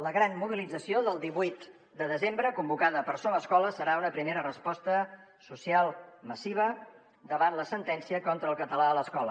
la gran mobilització del divuit de desembre convocada per somescola serà una primera resposta social massiva davant la sentència contra el català a l’escola